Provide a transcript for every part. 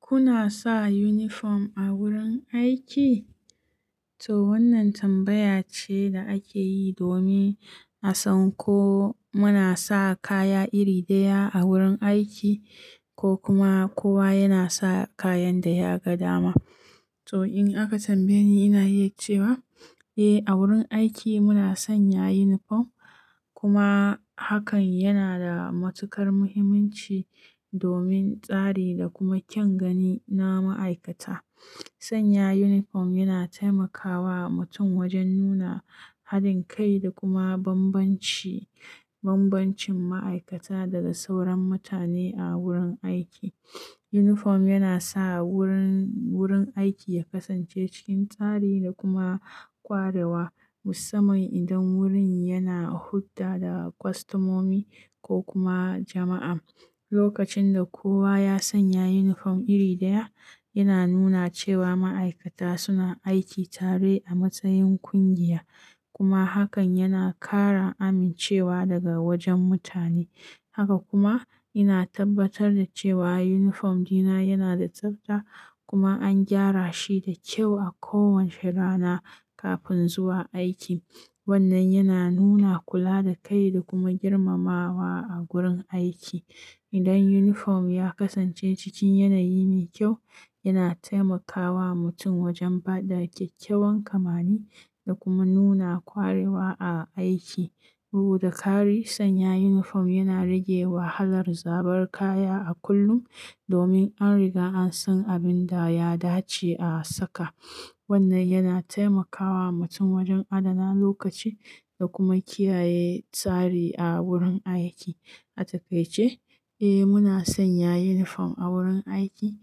Kuna sa uniform a wurin aiki? To wannan tambaya ce da ake yi domin a san ko muna sa kaya iri ɗaya a wurin aiki ko kuma kowa yana sa kayan da ya ga dama. To in aka tambaye ni, ina iya cewa eh, a wurin aiki muna sanya uniform kuma hakan yana da matuƙar muhimmanci domin tsari da kuma kyan gani na ma'aikata. Sanya uniform yana taimakawa mutum wajen nuna haɗin kai da kuma bambanci, bambancin ma'aikata daga sauran mutane a wurin aiki. Uniform yana sa wurin, wurin aiki ya kasance cikin tsari da kuma ƙwarewa musamman idan wurin yana hulɗa da kwastamomi ko kuma jama'a. Lokacin da kowa ya sanya uniform iri ɗaya, yana nuna cewa ma'aikata suna aiki tare a matsayin ƙungiya kuma hakan yana ƙara amincewa daga wajen mutane. Haka kuma ina tabbatar da cewa uniform dina yana da tsafta kuma an gyara shi da kyau a kowace rana kafin zuwa aiki. Wannan yana nuna kula da kai da kuma girmamawa a gurin aiki. Idan uniform ya kasance cikin yanayi mai kyau, yana taimakawa mutum wajen ba da kyakkyawan kamani da kuma nuna ƙwarewa a aiki. Bugu da ƙari, sanya uniform yana rage wahalar zabar kaya a kullum domin an riga an san abin da ya dace a saka. Wannan yana taimakawa mutum wajen adana lokaci da kuma kiyaye tsari a wurin aiki. A takaice, eh muna sanya uniform a wurin aiki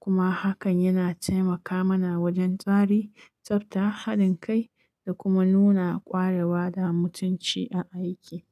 kuma hakan yana taimaka mana wajen tsari, tsafta, haɗin kai da kuma nuna ƙwarewa da mutunci a aiki.